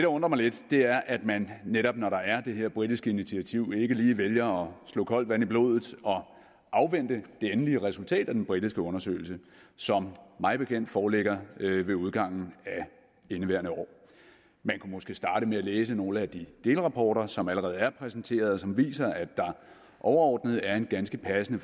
undrer mig lidt er at man netop når der er det her britiske initiativ ikke lige vælger at slå koldt vand i blodet og afvente det endelige resultat af den britiske undersøgelse som mig bekendt foreligger ved udgangen af indeværende år man kunne måske starte med at læse nogle af de delrapporter som allerede er præsenteret og som viser at der overordnet er en ganske passende